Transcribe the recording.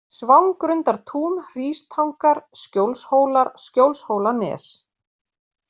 Svangrundartún, Hrístangar, Skjólshólar, Skjólshólanes